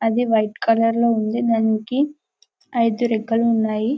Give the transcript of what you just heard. అది white colour లో ఉంది దానికి ఐదు రెక్కలు ఉన్నాయి.